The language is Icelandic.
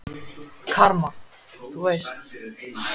Karma. þú veist?